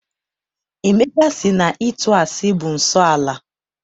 Emeka sị na ịtụ asị bụ nsọala.